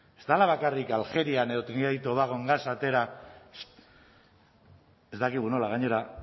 ez dela bakarrik algerian edo trinidad y tobagon gasa atera ez dakigu nola gainera